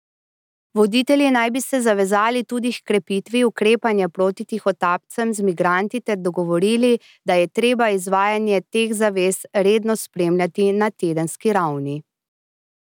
Voditelji naj bi se zavezali tudi h krepitvi ukrepanja proti tihotapcem z migranti ter dogovorili, da je treba izvajanje teh zavez redno spremljati na tedenski ravni.